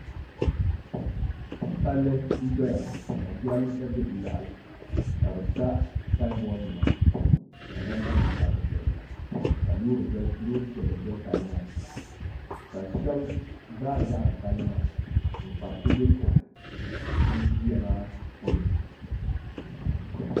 Palli n doya ka jiranbiisa bɛ di yaɣali ka bi sa sanbood nima ka namba nim sabi dizuɣu ka loori piɛlli doli palli maa ka shaba baari yaɣari palli maa n kpari kubɛ kohi ŋun ʒiya maa polo